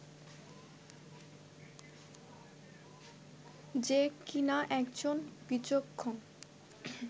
যে কিনা একজন বিচক্ষণ